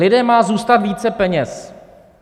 Lidem má zůstat více peněz.